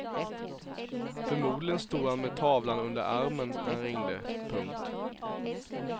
Förmodligen stod han med tavlan under armen när han ringde. punkt